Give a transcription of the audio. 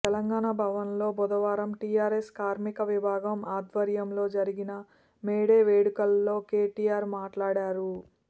తెలంగాణ భవన్లో బుధవారం టీఆర్ఎస్ కార్మిక విభాగం ఆధ్వర్యంలో జరిగిన మే డే వేడుకల్లో కేటీఆర్ మాట్లాడారు